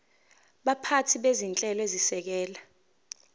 baphathi bezinhlelo ezisekela